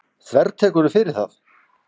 Þvertekurðu fyrir það?